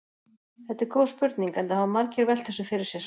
Þetta er góð spurning enda hafa margir velt þessu fyrir sér.